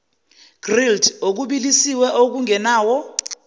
grilled okubilisiwe okungenawo